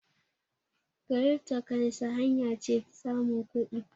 kiripto kansi hanya ce samun kudi